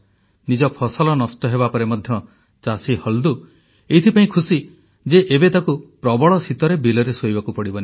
ନିଜ ଫସଲ ନଷ୍ଟ ହେବାପରେ ମଧ୍ୟ ଚାଷୀ ହଲ୍ଦୁ ଏଥିପାଇଁ ଖୁସି ଯେ ଏବେ ତାକୁ ପ୍ରବଳ ଶୀତରେ ବିଲରେ ଶୋଇବାକୁ ପଡ଼ିବନି